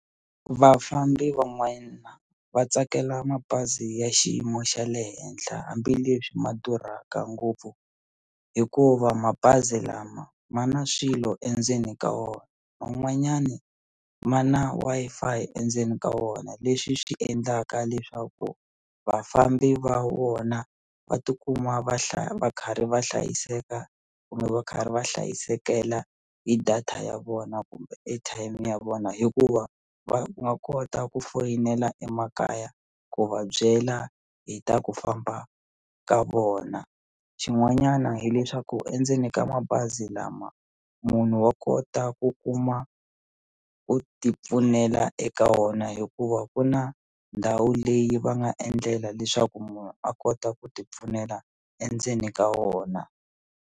Vafambi van'wana va tsakela mabazi ya xiyimo xa le henhla hambileswi ma durhaka ngopfu hikuva mabazi lama ma na swilo endzeni ka wona man'wanyani ma na Wi-Fi endzeni ka wona leswi swi endlaka leswaku vafambi va wona va tikuma va va karhi va hlayiseka kumbe va karhi va hlayisekela hi data ya vona kumbe airtime ya vona hikuva va nga kota ku foyinela emakaya ku va byela hi ta ku famba ka vona xin'wanyana hileswaku endzeni ka mabazi lama munhu wa kota ku kuma ku ti pfunela eka wona hikuva ku na ndhawu leyi va nga endlela leswaku munhu a kota ku ti pfunela endzeni ka wona.